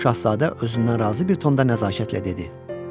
Şahzadə özündən razı bir tonda nəzakətlə dedi.